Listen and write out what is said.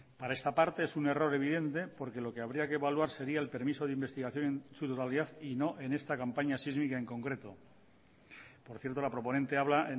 para esta parte es un error evidente porque lo que habría que evaluar sería el permiso de investigación en su totalidad y no en esta campaña sísmica en concreto por cierto la proponente habla